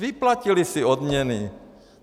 Vyplatili si odměny.